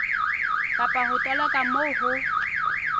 kapa ho toloka moo ho